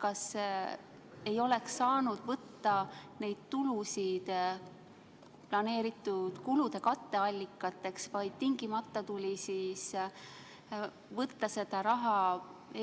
Kas ei oleks saanud võtta neid tulusid planeeritud kulude katteallikateks, vaid tingimata tuli võtta seda raha